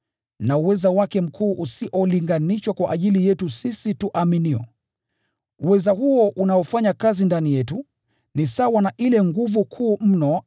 na uweza wake mkuu usiolinganishwa kwa ajili yetu sisi tuaminio. Uweza huo unaofanya kazi ndani yetu, ni sawa na ile nguvu kuu mno